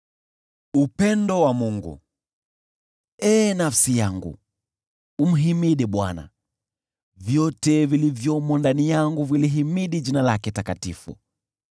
Ee nafsi yangu, umhimidi Bwana . Vyote vilivyomo ndani yangu vilihimidi jina lake takatifu.